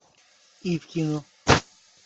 ивкину